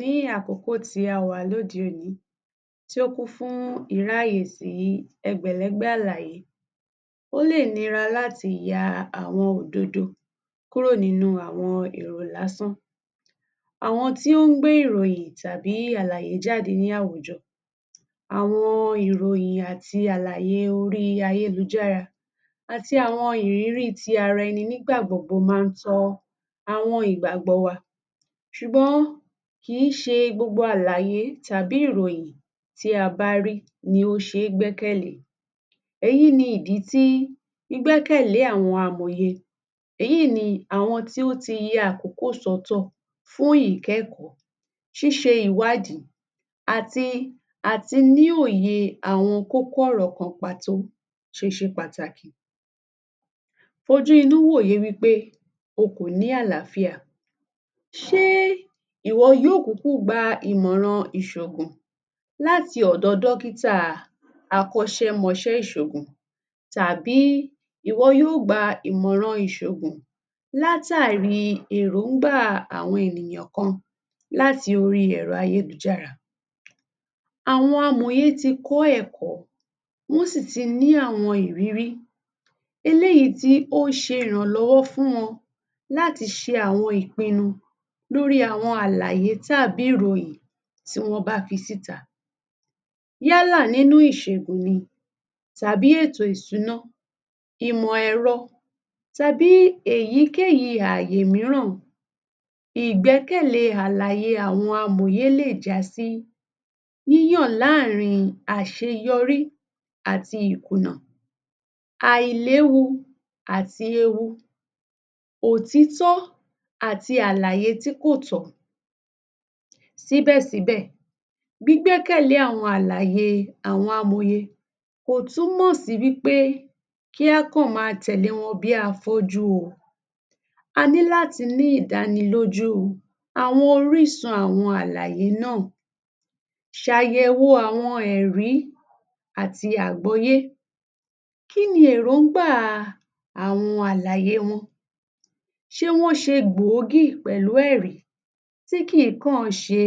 Ní àkókò tí a wà lóde òní tí ó kún fún ẹgbẹ̀lẹ́gbẹ̀ àlàyé. Ó lè nira láti ya àwọn òdodo kúrò nínú àwọn èrò lásán. Àwọn tí ó ń gbé ìròyìn tàbí àlàyé jáde ní àwùjọ, àwọn ìròyìn àti àlàyé oríi ayélujára, àti àwọn ìrírí ti ara-ẹni nígbà gbogbo máa ń tọ́ àwọn ìgbàgbọ́ wa. Ṣùgbọ́n kìí ṣe gbogbo àlàyé tàbí ìròyìn tí a bá rí ni ó ṣe é gbẹ́kẹ̀lé. Èyí ni ìdí tí gbígbẹ́kẹ̀lé àwọn amòye, èyí ni àwọn tí ó ti ya àkókò sọ́tọ̀ fún ìkẹ́kọ̀ọ́, ṣíṣe ìwádìí, àti àti ní òye àwọn kókó ọ̀rọ̀ kan pàtó ṣe ṣe pàtàkì. Fojú inú wòye wí péo kò ní àlááfíà, ṣé ìwọ yóò kúkú gba ìmọ̀ràn ìṣògùn láti ọ̀dọ̀ dọ́kítà akọ́ṣẹ́mọṣẹ́ ìṣògùn tàbí ìwọ yóò gba ìmọ̀ràn ìṣògùn látàrí èròńgbà àwọn ènìyàn kan láti oríi ẹ̀rọ ayélujára. Àwọn amòye ti kọ́ ẹ̀kọ́, wọ́n sì ti ní àwọn ìrírí eléyìí tí ó ṣe ìrànlọ́wọ́ fún wọn láti ṣe àwọn ìpinnu lórí àwọn àlàyé tàbí ìròyìn tí wọ́n bá fi síta, yálà nínú ìṣègùn ni tàbí ètò ìsúná, ìmọ̀-ẹ̀ro tàbí èyíkéyìí ààyè mìíràn. Ìgbẹ́kẹ̀lé àlàyé àwọn amòye lè jásí yíyàn láàrin àṣeyọrí àti ìkùnà, àìléwu àti ewu, òtítọ́ àti àlàyé tí kò tọ́. Síbẹ̀síbẹ̀, gbígbẹ́kẹ̀lé àwọn àlàyé àwọn amòye kò túmọ̀ sí wí pé kí á kà,n máa tẹ̀lé wọn bíi afọ́jú o. A ní láti ní ìdánilójú àwọn orísun àwọn àlàyé náà. Ṣàyẹ̀wò àwọn ẹ̀rí àti àgbọ́yé. Kí ni èròńgbàa àwọn àlàyé wọn? Ṣé wọ́n ṣe gbòógì pẹ̀lú ẹ̀rí, tí kìí kàn án ṣe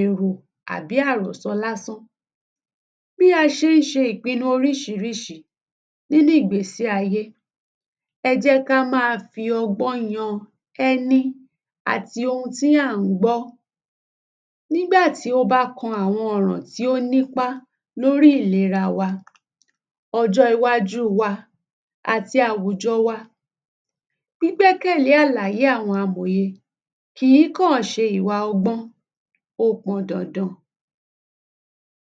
èrò àbí àròsọ lásán. Bí a ṣe ń ṣe ìpinnu oríṣiríṣi nínú ìgbésí-ayé, ẹ jẹ́ ká máa fi ọgbọ́n yan ẹni àti ohun tí à ń gbọ́, nígbà tí ó bá kan àwọn ọ̀ràn tí ó nípá lórí ìlera wa, ọjọ́ iwájú wa, àti àwùjọ wa. Gbígbẹ́kẹ̀lé àlàyé àwọn amòye kìí kàn án ṣe ìwà ọgbọ́n, ó pọn dandan.